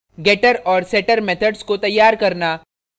getter और setter methods को तैयार करना